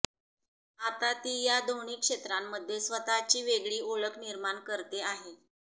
आता ती या दोन्ही क्षेत्रांमध्ये स्वतःची वेगळी ओळख निर्माण करते आहे